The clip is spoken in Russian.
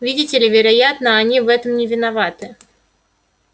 видите ли вероятно они в этом не виноваты